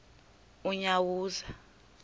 unyawuza